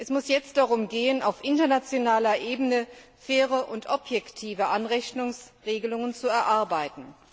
Es muss jetzt darum gehen, auf internationaler Ebene faire und objektive Anrechnungsregelungen zu erarbeiten.